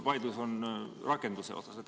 Vaidlus on rakenduse üle.